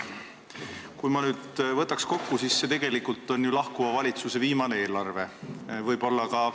Kui ma nüüd kokku võtan, siis see tegelikult on ju lahkuva valitsuse viimane eelarve.